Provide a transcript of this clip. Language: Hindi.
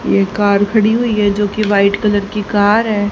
ये कार खड़ी हुई है जोकि वाइट कलर की कार है।